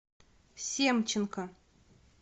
семченко